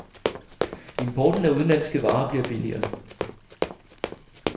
Importen af udenlandske varer bliver billigere.